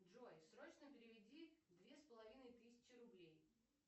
джой срочно переведи две с половиной тысячи рублей